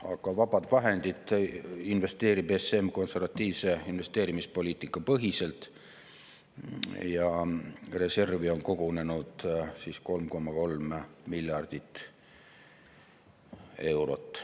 Aga vabad vahendid investeerib ESM konservatiivse investeerimispoliitika põhiselt ja reservi on kogunenud 3,3 miljardit eurot.